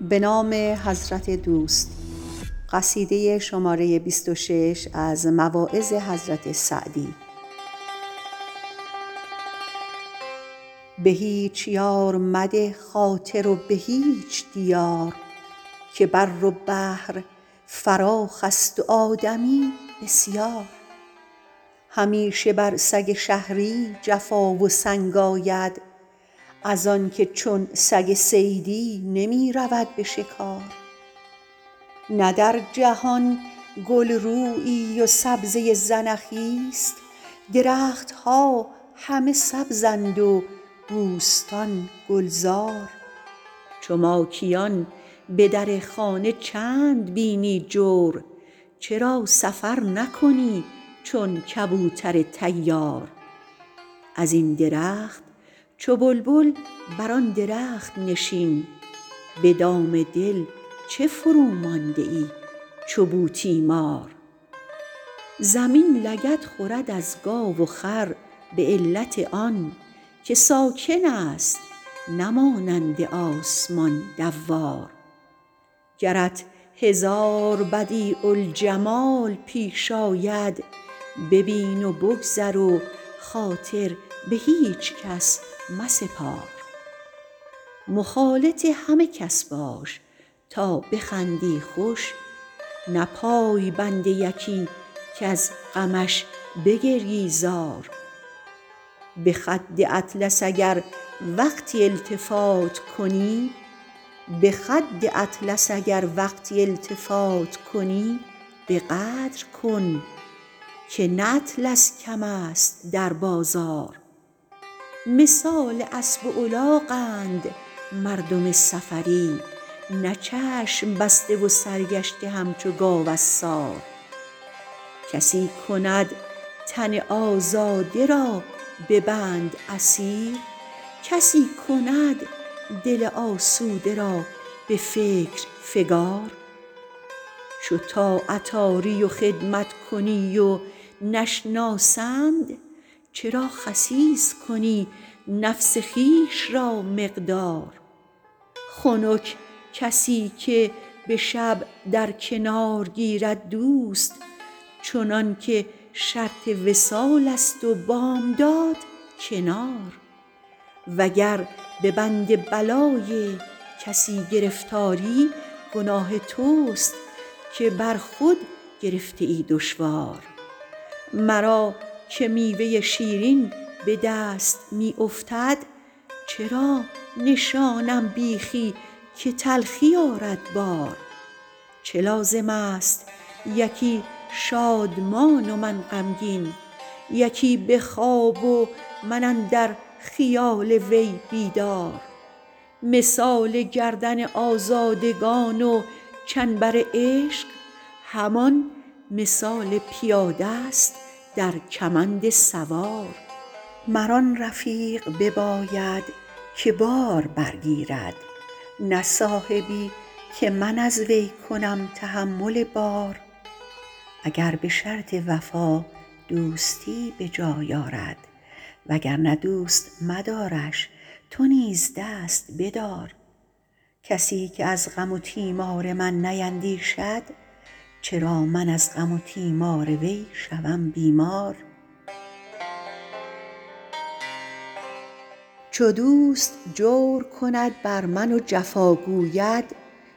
به هیچ یار مده خاطر و به هیچ دیار که بر و بحر فراخست و آدمی بسیار همیشه بر سگ شهری جفا و سنگ آید از آن که چون سگ صیدی نمی رود به شکار نه در جهان گل رویی و سبزه زنخیست درخت ها همه سبزند و بوستان گلزار چو ماکیان به در خانه چند بینی جور چرا سفر نکنی چون کبوتر طیار ازین درخت چو بلبل بر آن درخت نشین به دام دل چه فرومانده ای چو بوتیمار زمین لگد خورد از گاو و خر به علت آن که ساکن ست نه مانند آسمان دوار گرت هزار بدیع الجمال پیش آید ببین و بگذر و خاطر به هیچ کس مسپار مخالط همه کس باش تا بخندی خوش نه پای بند یکی کز غمش بگریی زار به خد اطلس اگر وقتی التفات کنی به قدر کن که نه اطلس کم ست در بازار مثال اسب الاغند مردم سفری نه چشم بسته و سرگشته همچو گاو عصار کسی کند تن آزاده را به بند اسیر کسی کند دل آسوده را به فکر فکار چو طاعت آری و خدمت کنی و نشناسند چرا خسیس کنی نفس خویش را مقدار خنک کسی که به شب در کنار گیرد دوست چنان که شرط وصال ست و بامداد کنار وگر به بند بلای کسی گرفتاری گناه تست که بر خود گرفته ای دشوار مرا که میوه شیرین به دست می افتد چرا نشانم بیخی که تلخی آرد بار چه لازم ست یکی شادمان و من غمگین یکی به خواب و من اندر خیال وی بیدار مثال گردن آزادگان و چنبر عشق همان مثال پیاده ست در کمند سوار مرا رفیقی باید که بار برگیرد نه صاحبی که من از وی کنم تحمل بار اگر به شرط وفا دوستی به جای آرد وگرنه دوست مدارش تو نیز و دست بدار کسی که از غم و تیمار من نیندیشد چرا من از غم و تیمار وی شوم بیمار چو دوست جور کند بر من و جفا گوید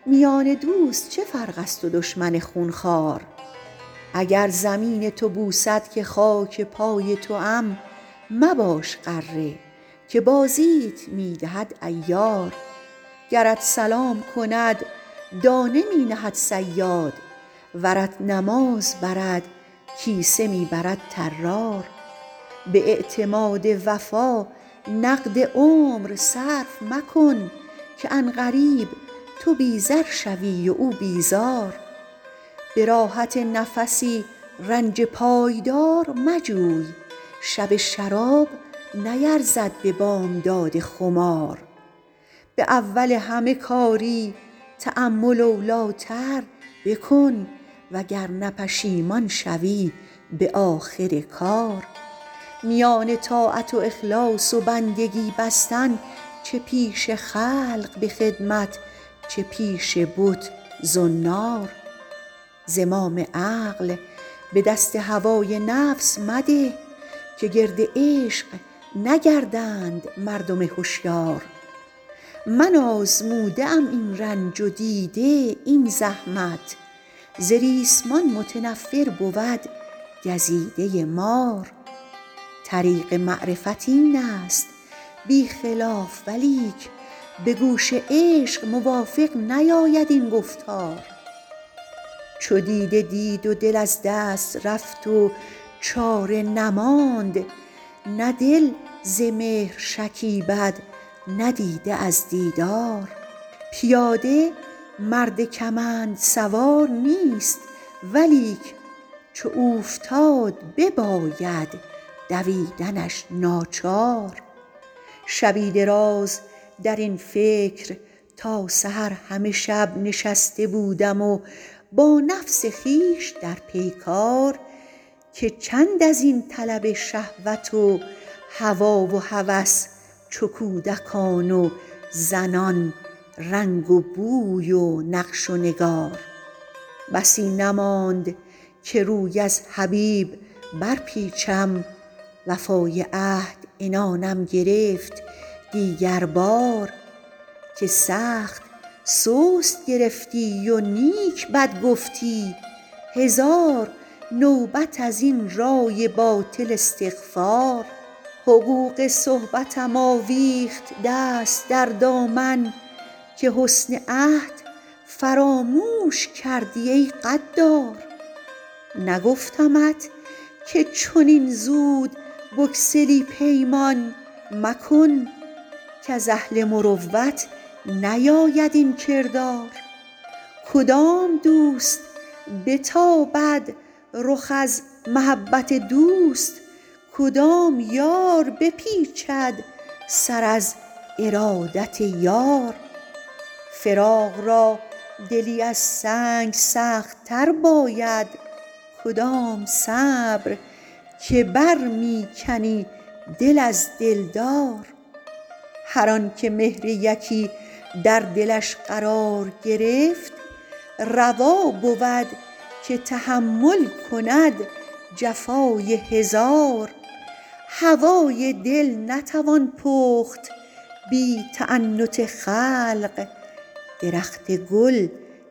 میان دوست چه فرق ست و دشمن خونخوار اگر زمین تو بوسد که خاک پای توام مباش غره که بازیت می دهد عیار گرت سلام کند دانه می نهد صیاد ورت نماز برد کیسه می برد طرار به اعتماد وفا نقد عمر صرف مکن که عن قریب تو بی زر شوی و او بیزار به راحت نفسی رنج پایدار مجوی شب شراب نیرزد به بامداد خمار به اول همه کاری تأمل اولی تر بکن وگرنه پشیمان شوی به آخر کار میان طاعت و اخلاص و بندگی بستن چه پیش خلق به خدمت چه پیش بت زنار زمام عقل به دست هوای نفس مده که گرد عشق نگردند مردم هشیار من آزموده ام این رنج و دیده این زحمت ز ریسمان متنفر بود گزیده مار طریق معرفت این ست بی خلاف ولیک به گوش عشق موافق نیاید این گفتار چو دیده دید و دل از دست رفت و چاره نماند نه دل ز مهر شکیبد نه دیده از دیدار پیاده مرد کمند سوار نیست ولیک چو اوفتاد بباید دویدنش ناچار شبی دراز درین فکر تا سحر همه شب نشسته بودم و با نفس خویش در پیکار که چند ازین طلب شهوت و هوا و هوس چو کودکان و زنان رنگ و بوی و نقش و نگار بسی نماند که روی از حبیب برپیچم وفای عهد عنانم گرفت دیگر بار که سخت سست گرفتی و نیک بد گفتی هزار نوبت از این رای باطل استغفار حقوق صحبتم آویخت دست در دامن که حسن عهد فراموش کردی ای غدار نگفتمت که چنین زود بگسلی پیمان مکن کز اهل مروت نیاید این کردار کدام دوست بتابد رخ از محبت دوست کدام یار بپیچد سر از ارادت یار فراق را دلی از سنگ سخت تر باید کدام صبر که بر می کنی دل از دلدار هر آن که مهر یکی در دلش قرار گرفت روا بود که تحمل کند جفای هزار هوای دل نتوان پخت بی تعنت خلق درخت گل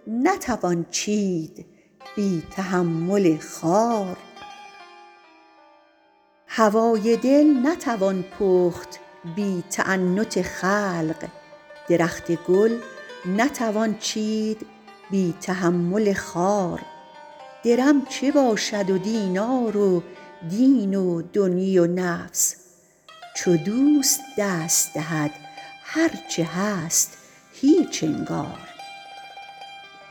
نتوان چید بی تحمل خار درم چه باشد و دینار و دین دنیی و نفس چو دوست دست دهد هرچه هست هیچ انگار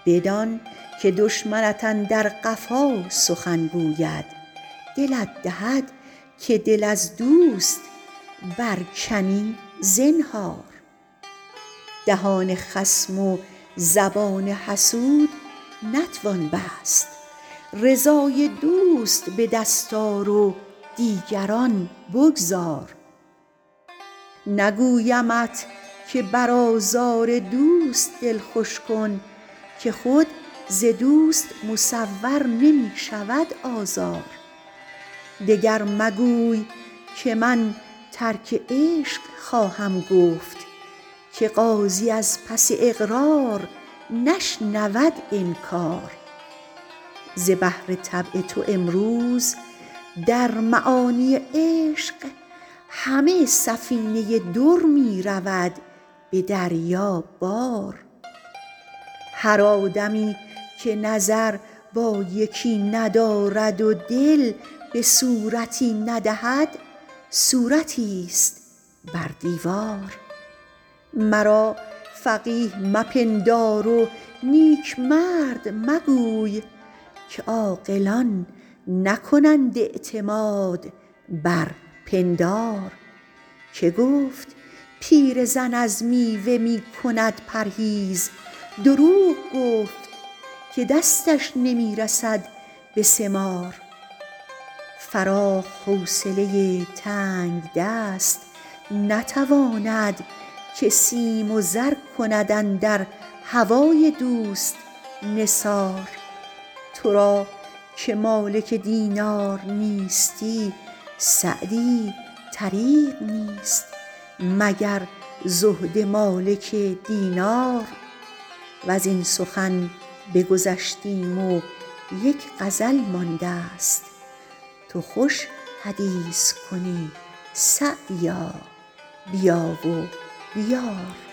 بدان که دشمنت اندر قفا سخن گوید دلت دهد که دل از دوست برکنی زنهار دهان خصم و زبان حسود نتوان بست رضای دوست بدست آر و دیگران بگذار نگویمت که بر آزار دوست دل خوش کن که خود ز دوست مصور نمی شود آزار دگر مگوی که من ترک عشق خواهم گفت که قاضی از پس اقرار نشنود انکار ز بحر طبع تو امروز در معانی عشق همه سفینه در می رود به دریا بار هر آدمی که نظر با یکی ندارد و دل به صورتی ندهد صورتی ست بر دیوار مرا فقیه مپندار و نیک مرد مگوی که عاقلان نکنند اعتماد بر پندار که گفت پیرزن از میوه می کند پرهیز دروغ گفت که دستش نمی رسد به ثمار فراخ حوصله تنگدست نتواند که سیم و زر کند اندر هوای دوست نثار تو را که مالک دینار نیستی سعدی طریق نیست مگر زهد مالک دینار وزین سخن بگذشتیم و یک غزل ماندست تو خوش حدیث کنی سعدیا بیا و بیار